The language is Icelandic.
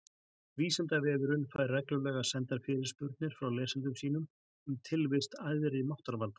Vísindavefurinn fær reglulega sendar fyrirspurnir frá lesendum sínum um tilvist æðri máttarvalda.